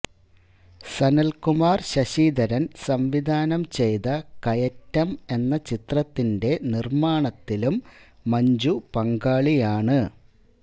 സനല്കുമാര് ശശിധരന് സംവിധാനം ചെയ്ത കയറ്റം എന്ന ചിത്രത്തിന്റെ നിര്മാണത്തിലും മഞ്ജു പങ്കാളിയാണ്